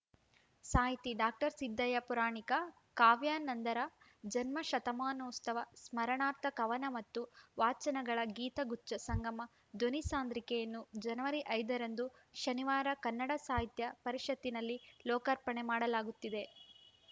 ಸಾಹಿತಿ ಡಾಕ್ಟರ್ ಸಿದ್ಧಯ್ಯ ಪುರಾಣಿಕ ಕಾವ್ಯಾನಂದರ ಜನ್ಮ ಶತಮಾನೋತ್ಸವ ಸ್ಮರಣಾರ್ಥ ಕವನ ಮತ್ತು ವಾಚನಗಳ ಗೀತಗುಚ್ಛ ಸಂಗಮ ಧ್ವನಿ ಸಾಂದ್ರಿಕೆಯನ್ನು ಜನವರಿ ಐದರಂದು ಶನಿವಾರ ಕನ್ನಡ ಸಾಹಿತ್ಯ ಪರಿಷತ್ತಿನಲ್ಲಿ ಲೋಕಾರ್ಪಣೆ ಮಾಡಲಾಗುತ್ತಿದೆ